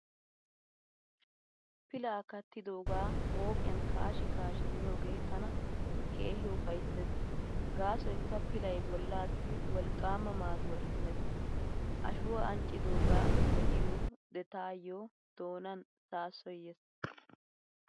Pilaa kattidoogaa mooqiyaani kaashi kaashi miyoogee tana keehi ufayssees gaasoykka pilay bollaassi wolqqaama maaduwaa immees. Ashuwaa anccidoogaa be'iyo taayo doonan saassoy yees.